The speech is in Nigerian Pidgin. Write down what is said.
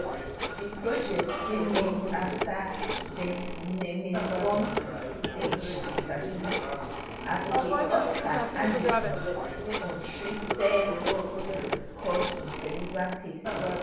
di project dey named after vietnameseborn british disability advocate oscar anderson wey untreated jaundice cause im cerebral palsy